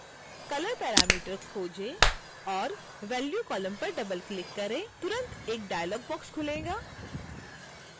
color parameter खोजें और value column पर डबलक्लिक करें तुरंत एक डायलॉग बॉक्स खुलेगा